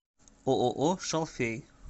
ооо шалфей